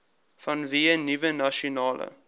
vanweë nuwe nasionale